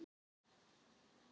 Síðan þá man hann fátt.